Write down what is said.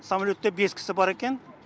самолетте бес кісі бар екен